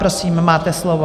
Prosím, máte slovo.